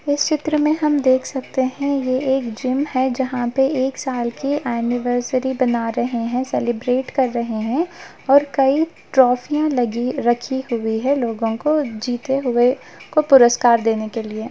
इस चित्र में हम देख सकते है ये एक जिम है जहाँ पे एक साल की एनिवर्सरी बना रहे है सेलिब्रेट कर रहे है और कई ट्रॉफियां लगी रखी हुई है लोगो को जीते हुए को पुरुस्कार देने के लिए।